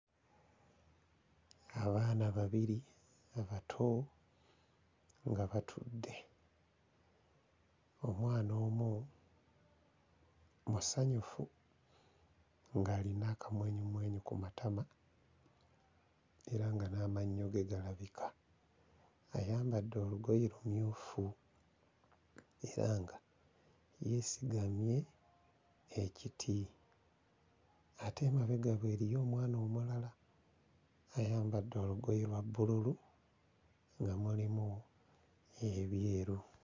Abaana babiri abato nga batudde omwana omu musanyufu ng'alina akamwenyumwenyu ku matama era nga n'amannyo ge galabika ayambadde olugoye lumyufu era nga yeesigamye ekiti ate emabega we eriyo omwana omulala ayambadde olugoye lwa bbululu nga mulimu ebyeru.